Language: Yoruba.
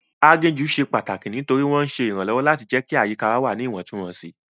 Aginjù ṣe pàtàkì nítorí wọ́n ń ṣe ìrànlọ́wọ́ láti jẹ́ kí àyíká wà ní Ìwọ̀ntúnwọ̀nsì